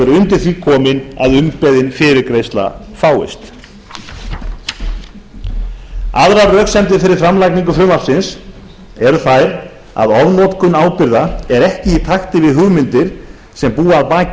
undir því komin að umbeðin fyrirgreiðsla fáist aðrar röksemdir fyrir framlagningu frumvarpsins eru þær að ofnotkun ábyrgða er ekki í takti við hugmyndir sem búa að baki